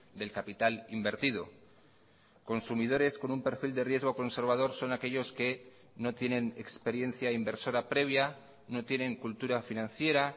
del capital invertido consumidores con un perfil de riesgo conservador son aquellos que no tienen experiencia inversora previa no tienen cultura financiera